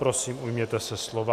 Prosím, ujměte se slova.